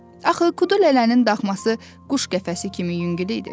Axı Kudu lələnin daxması quş qəfəsi kimi yüngül idi.